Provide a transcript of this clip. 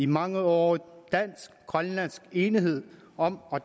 mangeårige dansk grønlandske enighed om at